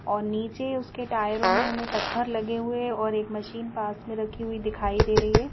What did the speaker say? और नीचे उसके टायरों में हमें पत्थर लगे हुए हैं और एक मशीन पास में रखी हुई दिखाई दे रही है।